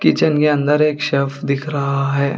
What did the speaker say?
Kitchen के अंदर एक शेफ दिख रहा है।